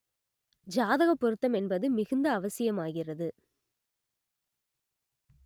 ஜாதக பொருத்தம் என்பது மிகுந்த அவசியமாகிறது